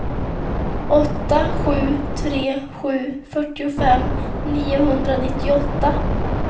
åtta sju tre sju fyrtiofem niohundranittioåtta